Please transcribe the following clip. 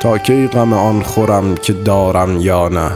تا کی غم آن خورم که دارم یا نه